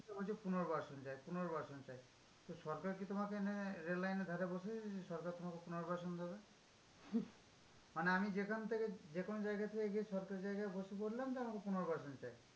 তো বলছে পুনর্বাসন চাই, পুনর্বাসন চাই। তো সরকার কি তোমাকে এনে রেল লাইনের ধারে বসিয়ে দিয়েছে? যে সরকার তোমাকে পুনর্বাসন দেবে? মানে আমি যেখান থেকে, যে কোনো জায়গার থেকে গিয়ে সরকারি জায়গায় বসে পরলাম, যে আমাকে পুনর্বাসন চাই।